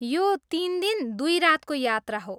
यो तिन दिन, दुई रातको यात्रा हो।